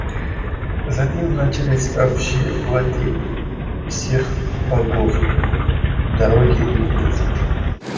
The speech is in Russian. за ним начинались общие владения всех богов дороги и улицы